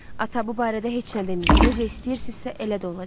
"Ata, bu barədə heç nə deməyin, necə istəyirsizsə, elə də olacaq."